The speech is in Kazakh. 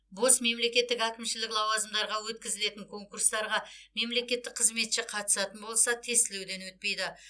бос мемлекеттік әкімшілік лауазымдарға өткізілетін конкурстарға мемлекеттік қызметші қатысатын болса тестілеуден өтпейді